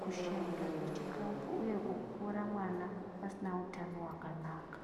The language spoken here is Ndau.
kushaikwa kwechikafu uye kukura kwemwana asina utano hwakanaka.